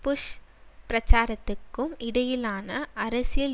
push பிரச்சாரத்துக்கும் இடையிலான அரசியல்